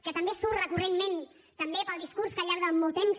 que també surt recurrentment també pel discurs que al llarg de molt temps